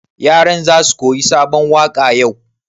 Yaran za su koyi sabon waƙa yau?